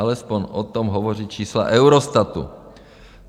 Alespoň o tom hovoří čísla Eurostatu.